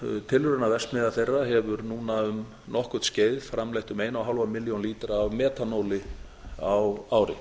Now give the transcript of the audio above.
við svartsengi og tilraunaverksmiðja þeirra hefur núna um nokkurt skeið framleitt um eina og hálfa milljón lítra af metanóli á ári